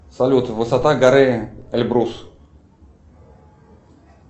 салют высота горы эльбрус